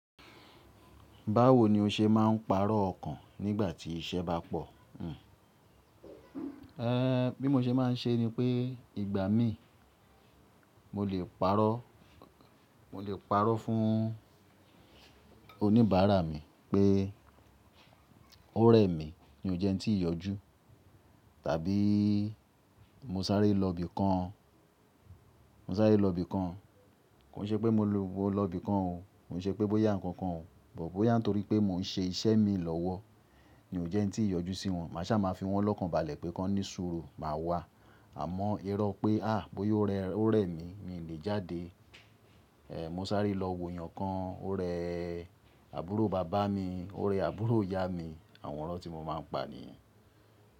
Báwo ni o ṣe máà ń pàrọ̀ ọkàn nígbà tí iṣẹ́ bá pọ̀? Bí mo ṣe máa ń ṣe ni pé ìgbà mí mo lè pàrọ̀, mo lè pàrọ̀ fún oníbàárà mi pé ó rẹ̀ mí ni ó jẹ́ ki tí ì yọjú tàbí mo sáré lọ ibi kan, mo sáré lọ ibi kan, kò n ṣe pé mo lọ ibi kan o, kò n ṣe pé bóyá ǹkan kan o, bóyá nítorí pé mo ń ṣe iṣẹ́ mi lọ́wọ́ ni ó jẹ́ n tí ì yọjú sí wọn. Màṣá máa fi wọ́n lọ́kànbalẹ̀ pé kọ́ní sùúrù, màá wá. Àmọ́ irọ́ pé à bóyá ó rẹ́ mi, mi ò lè jáde. Mo sáré lọ wo èèyàn kan, ó rẹ́ àbúrò bàbá mi, ó rẹ́ àbúrò ìyá mi, àwọn irọ́ tí mo máa ń pa nìyẹn.